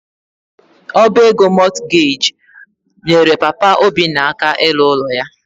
Ọba ego Mortgage nyere Papa Obinna aka ịlụ ụlọ ya.